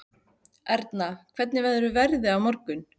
Erna, hvernig verður veðrið á morgun?